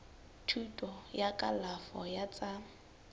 thuto ya kalafo ya tsa